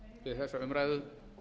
við þessa umræðu